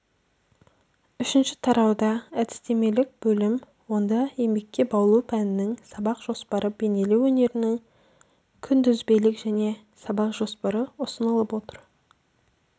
үшінші тарауда әдістемелік бөлім онда еңбекке баулу пәнінің сабақ жоспары бейнелеу өнерінің күнтізбелік және сабақ жоспары ұсынылып отыр